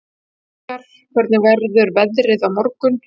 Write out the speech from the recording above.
Vinjar, hvernig verður veðrið á morgun?